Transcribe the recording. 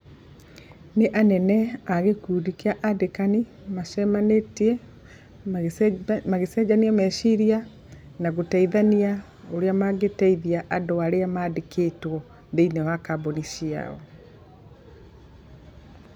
Nĩ anene a gĩkundi kĩa andĩkani macemanĩtie magĩcenjania meciria na gũteithania ũrĩa mangĩteithia andũ arĩa mandĩkĩtwo thĩiniĩ wa kambuni ciao.